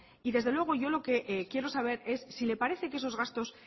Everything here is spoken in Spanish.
y desde luego yo lo que quiero saber si le parece que esos gastos